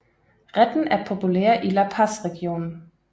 Retten er populær i La Paz regionen